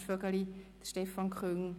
Ernst Vögeli und Stefan Küng.